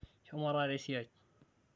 shomo taata esiai